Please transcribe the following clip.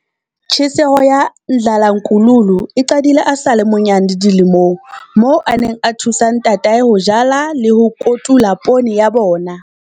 Tjheseho ya Ndlalankululu e qadile a sa le monyane dilemong, moo a neng a thusa ntatae ho jala le ho kotula poone ya bona.